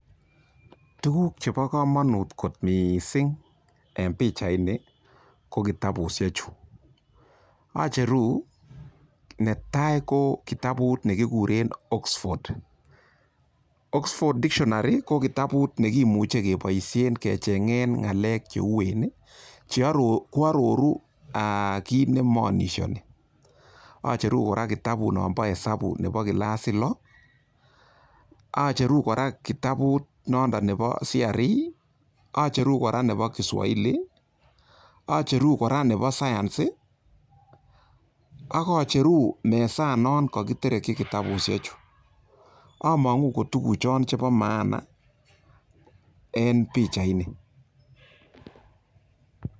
Tuguk chebo komonut kot mising en pichaini ko kitabushek chu acheru netai ko kitabut ne kikuren Oxford, Oxford dictionary ko kitabut nekimuche keboishen kecheng'en ng'alek che uwen, ko aroru kit ne maanishoni acheru kora kitabut nonbo hesabuk nonbo kilasit lo acheru kora kitabut nondon nebo CRE, acheru kora nebo Kiswahili, acheru kora nebo Science, ak acheru mesanon kokitereki kitabushek chu, among'u ko tuguchon chebo maana en pichaini.